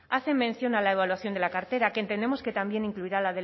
hace mención a la evaluación de la cartera que entendemos que también incluirá